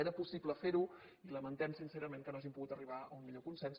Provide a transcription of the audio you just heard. era possible fer ho i lamentem sincerament que no hàgim pogut arribar a un millor consens